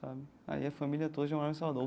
Sabe aí a família toda já morava em Salvador.